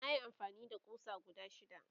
nayi amfani da ƙusa guda shida